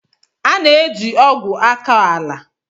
A na eji ogwu akọ ala.